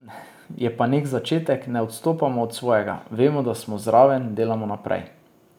Je pa nek začetek, ne odstopamo od svojega, vemo, da smo zraven, delamo naprej.